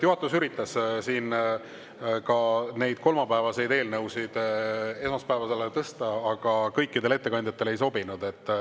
Juhatus üritas neid kolmapäevaseid eelnõusid esmaspäevale tõsta, aga kõikidele ettekandjatele ei sobinud.